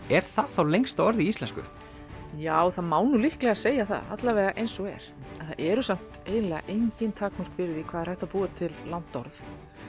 er það þá lengsta orð í íslensku já það má nú líklega segja það allavega eins og er það eru samt eiginlega engin takmörk fyrir því hvað er hægt að búa til langt orð